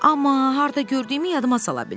Amma harda gördüyümü yadıma sala bilmirəm.